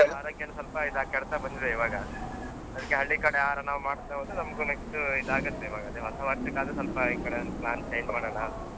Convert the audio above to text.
ಆರೋಗ್ಯವನ್ನ ಸ್ವಲ್ಪ ಇದ್ ಆಗ್ತಾ ಕೆಡ್ತ ಬಂದಿದೆ ಈವಾಗ. ಅದ್ಕೆ ಹಳ್ಳಿ ಕಡೆ ಆಹಾರ ನಾವು ಮಾಡ್ತ ಹೋದ್ರೆ ನಮ್ಗೂ next ಇದಾಗತ್ತೆ ಈವಾಗ ಅದೆ ಹೊಸ ವರ್ಷಕ್ಕಾದ್ರೂ ಸ್ವಲ್ಪ ಈಕಡೆ ಒಂದು plan change ಮಾಡೋಣ.